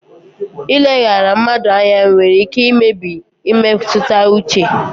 Ileghara mmadụ anya nwere ike imebi mmetụta uche.